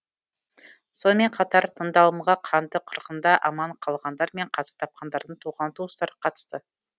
сонымен қатар тыңдалымға қанды қырғында аман қалғандар мен қаза тапқандардың туған туыстары қатысты